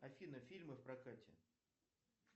афина фильмы в прокате